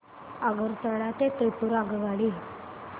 आगरतळा ते त्रिपुरा आगगाडी